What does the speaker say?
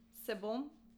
Se bom?